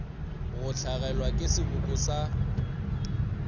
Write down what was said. go hlagelwa ke seboko sa